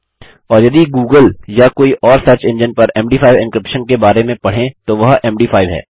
और यदि गूगल या कोई और सर्च इंजिन पर मद5 एन्क्रिप्शन के बारे में पढ़ें तो वह एम डी 5 है